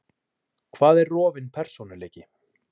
Hvað er rofinn persónuleiki?